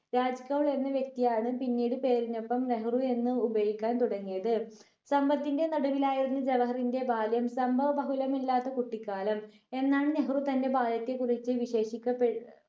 രാജ് കൗൾ എന്ന വ്യക്തിയാണ് പിന്നീട് പേരിനൊപ്പം നെഹ്‌റു എന്ന് ഉപയോഗിക്കാൻ തുടങ്ങിയത് സമ്പത്തിന്റെ നടുവിലായിരുന്ന ജവഹറിന്റെ ബാല്യം സംഭവ ബഹുലമില്ലാത്ത കുട്ടിക്കാലം എന്നാണ് നെഹ്‌റു തന്റെ ബാല്യത്തെ കുറിച് വിശേഷിക്കപ്പെ